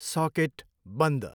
Socket बन्द।